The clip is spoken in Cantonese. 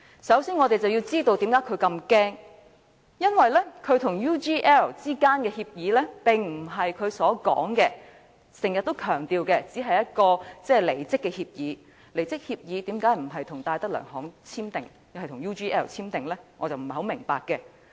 首先，我們要知道他為何如此害怕，因為他與 UGL 之間的協議並非如他經常強調的只是一份離職協議，離職協議為何不是跟戴德梁行簽訂而是跟 UGL 簽訂？